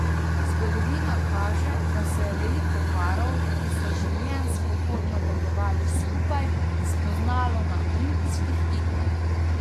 Zgodovina kaže, da se je veliko parov, ki so življenjsko pot nadaljevali skupaj, spoznalo na olimpijskih igrah.